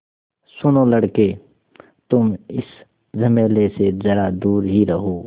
सुनो लड़के तुम इस झमेले से ज़रा दूर ही रहो